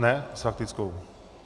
Ne s faktickou?